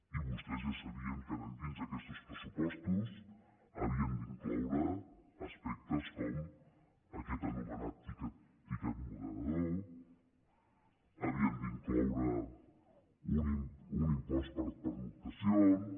i vostès ja sabien que dins d’aquestos pressupostos havien d’incloure aspectes com aquest anomenat tiquet moderador havien d’incloure un impost per pernoctacions